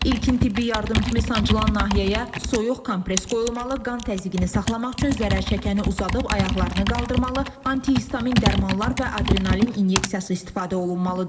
İlkin tibbi yardım kimi sancılan nahiyəyə soyuq kompres qoyulmalı, qan təzyiqini saxlamaq üçün zərər çəkəni uzadıb ayaqlarını qaldırmalı, antihistamin dərmanlar və adrenalin inyeksiyası istifadə olunmalıdır.